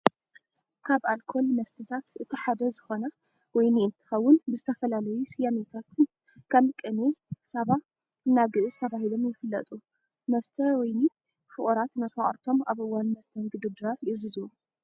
ካብ ኣልኮል መስተታት እቲ ሓደ ዝኾነ ወይኒ እንትኸውን ብዝተፈላለዩ ስያሜታትን ከም ቅኔ፣ ሳባ፣ እና ግእዝ ተባሂሎም ይፍለጡ። መስተ ወይኒ ፍቁራት ንመፋቅርቶም ኣብ እዋን መስተንግዶ ድራር ይዕዝዝዎ።